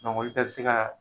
olu bɛɛ be se ka na